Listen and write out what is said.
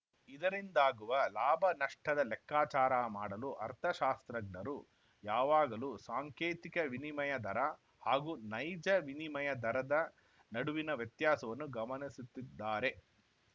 ಇದರಿಂದಾಗುವ ಲಾಭನಷ್ಟದ ಲೆಕ್ಕಾಚಾರ ಮಾಡಲು ಅರ್ಥಶಾಸ್ತ್ರಜ್ಞರು ಯಾವಾಗಲೂ ಸಾಂಕೇತಿಕ ವಿನಿಮಯ ದರ ಹಾಗೂ ನೈಜ ವಿನಿಮಯ ದರದ ನಡುವಿನ ವ್ಯತ್ಯಾಸವನ್ನು ಗಮನಸುತ್ತಿದ್ದಾರೆ